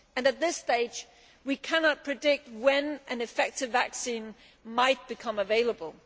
At this stage, we cannot predict when an effective vaccine might become available.